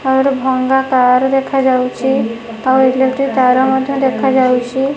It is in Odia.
ଆଉ ଗୋଟେ ଭଙ୍ଗା କାର ଦେଖାଯାଉଚି ଆଉ ଇଲେକ୍ଟ୍ରି ତାର ମଧ୍ଯ ଦେଖାଯାଉଚି।